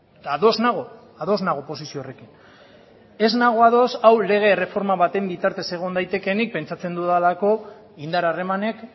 eta ados nago ados nago posizio horrekin ez nago ados hau lege erreforma baten bitartez egon daitekeenik pentsatzen dudalako indar harremanek